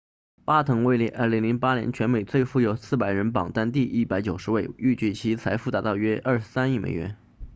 巴滕位列2008年全美最富有400人榜单第190位预计其财富达到约23亿美元